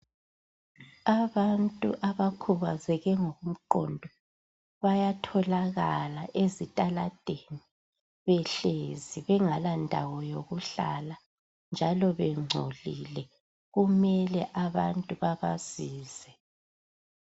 abantu abakhubazeke ngokomqondo bayatholakala ezitaladeni behlezi bengalandawo yokuhlala njalo bengcolile kumele abantu babasize